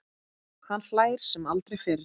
Hann hlær sem aldrei fyrr.